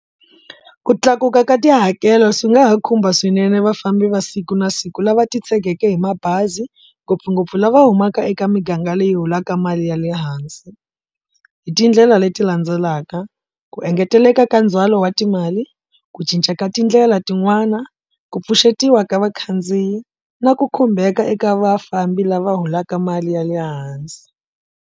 Ku tlakuka ka tihakelo swi nga ha khumba swinene vafambi va siku na siku lava titshegeke hi mabazi ngopfungopfu lava humaka eka miganga leyi holaka mali ya le hansi. Hi tindlela leti landzelaka, ku engeteleka ka ndzhwalo wa timali, ku cinca ka tindlela tin'wana, ku pfuxetiwa ka vakhandziyi na ku khumbeka eka vafambi lava holaka mali ya le hansi.